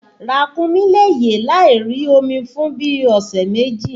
Ràkúnmí le yè láì rí omi fún bíi ọ̀sẹ̀ méjì